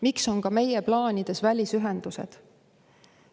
Miks on ka meie plaanides välisühendused?